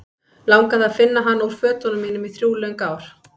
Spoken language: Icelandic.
Langaði að finna hana úr fötunum mínum í þrjú löng ár.